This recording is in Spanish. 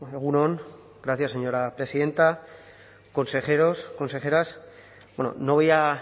egun on gracias señora presidenta consejeros consejeras no voy a